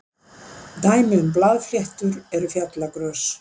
dæmi um blaðfléttur eru fjallagrös